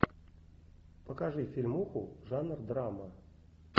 покажи фильмуху жанр драма